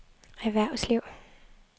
erhvervsliv